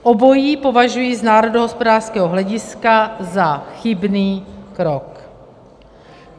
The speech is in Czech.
Obojí považuji z národohospodářského hlediska za chybný krok.